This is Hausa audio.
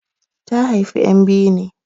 Ta haifi ƴan biyu ne.